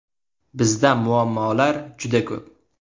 Bizda muammolar juda ko‘p.